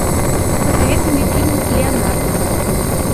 посоветуй мне фильм леонардо